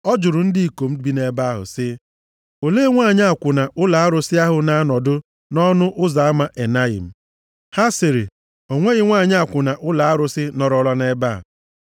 Ọ jụrụ ndị ikom bi nʼebe ahụ sị, “Olee nwanyị akwụna ụlọ arụsị ahụ na-anọdụ nʼọnụ ụzọ ama Enayim?” Ha sịrị, “O nweghị nwanyị akwụna ụlọ arụsị nọrọla nʼebe a.”